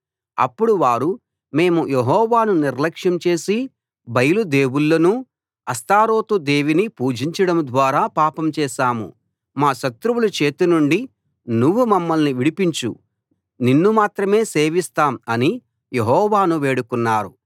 అప్పుడు వారు మేము యెహోవాను నిర్లక్ష్యం చేసి బయలు దేవుళ్ళనూ అష్తారోతు దేవిని పూజించడం ద్వారా పాపం చేశాం మా శత్రువుల చేతి నుండి నువ్వు మమ్మల్ని విడిపించు నిన్ను మాత్రమే సేవిస్తాం అని యెహోవాను వేడుకున్నారు